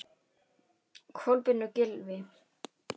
Kolbeinn og Gylfi.